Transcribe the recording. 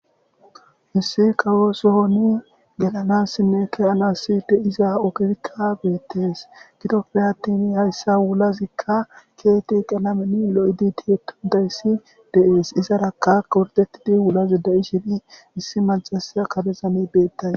missi kawoosohoni gelanassinne kehanassi de iza ogefikka beettees gidopfe attini hayssa wulazikka keeti qelameni lo7idi tiyetudayssi deees izaraka kordetidi wulazi da7i shini issi mancasa kabezani beettay